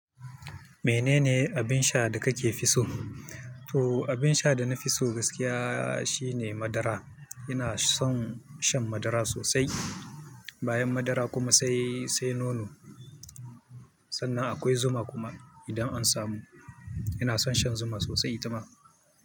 Menene abin sha da kake fi so? To abin sha da na fi so gaskiya shine madara. Ina son shan madara sosai. Bayan madara kuma sai, sai nono. Sannan akwai zuma kuma idan an samu. Ina son shan zuma sosai itama.